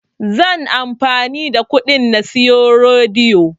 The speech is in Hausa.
Zan amfani da kuɗin na siyi rodi